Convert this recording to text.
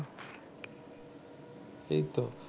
সেই তো